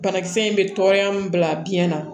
Banakisɛ in bɛ tɔɔrɔya min bila biyɛn na